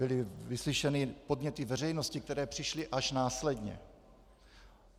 Byly vyslyšeny podněty veřejnosti, které přišly až následně.